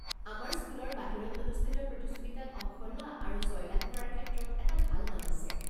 আমাৰ স্কুলৰ বাহিৰত অনুষ্ঠিত প্ৰতিযোগিতাত অংশ লোৱা আৰু জয়লাভ কৰাৰ ক্ষেত্ৰত এটা ভাল নাম আছে।